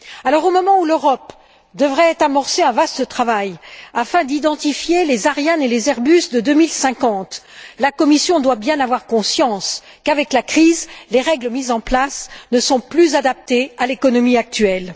Alors, au moment où l'Europe devrait amorcer un vaste travail afin d'identifier les Ariane et les Airbus de 2050, la Commission doit bien avoir conscience qu'avec la crise, les règles mises en place ne sont plus adaptées à l'économie actuelle.